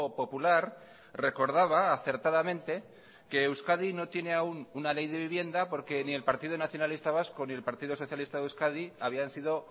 popular recordaba acertadamente que euskadi no tiene aún una ley de vivienda porque ni el partido nacionalista vasco ni el partido socialista de euskadi habían sido